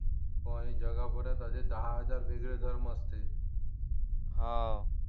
हो आणि जगा खोऱ्यात असे दहा हजार वेगळे धर्म असतील हा